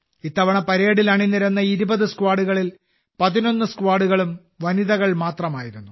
ഇത്തവണ പരേഡിൽ അണിനിരന്ന 20 സ്ക്വാഡുകളിൽ 11 സ്ക്വാഡുകളും വനിതകൾ മാത്രമായിരുന്നു